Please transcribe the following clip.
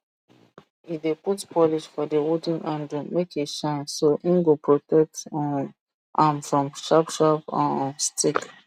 e dey put polish for the wooden handle make e shine so hin go protect um am from sharp sharp um stick